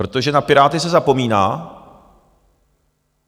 Protože na Piráty se zapomíná.